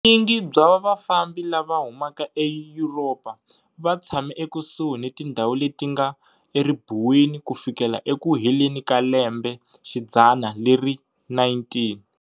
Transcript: Vunyingi bya vafambi lava humaka eYuropa va tshame ekusuhi ni tindhawu leti nga eribuweni ku fikela eku heleni ka lembexidzana leri 19.